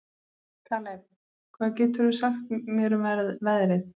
Kaleb, hvað geturðu sagt mér um veðrið?